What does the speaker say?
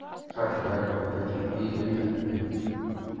Og loks hætti Jakob öllum vífilengjum.